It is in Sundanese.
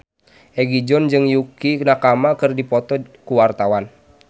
Egi John jeung Yukie Nakama keur dipoto ku wartawan